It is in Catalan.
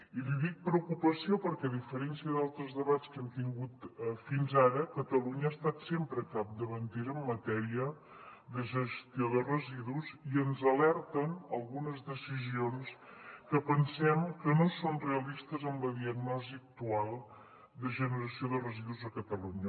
i li dic preocupació perquè a diferència d’altres de bats que hem tingut fins ara catalunya ha estat sempre capdavantera en matèria de gestió de residus i ens alerten algunes decisions que pensem que no són realistes amb la diagnosi actual de generació de residus a catalunya